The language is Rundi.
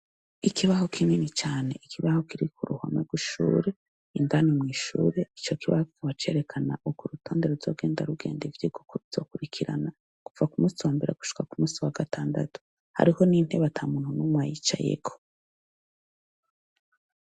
Ikibaho kinini cane, ikibaho kiri ku ruhome rwishuri indani mwishure ico kibaho kikaba cerekana uko urutonde ruzogenda rugenda ivyigwa uko bizokurikirana kuva ku munsi wambere gushika ku munsi wa gatandatu hariho nintebe ata muntu numwe ayicayeko.